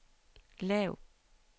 lav